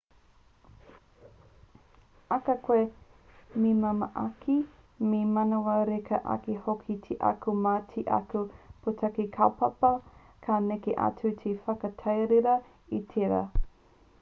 ahakoa me māmā ake me manawa reka ake hoki te ako mā te ako pūtake kaupapa ka neke atu te whakatīrewa i tērā